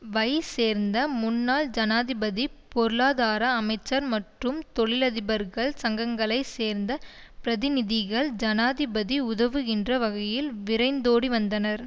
வை சேர்ந்த முன்னாள் ஜனாதிபதி பொருளாதார அமைச்சர் மற்றும் தொழிலதிபர்கள் சங்கங்களை சேர்ந்த பிரதிநிதிகள் ஜனாதிபதி உதவுகின்ற வகையில் விரைந்தோடிவந்தனர்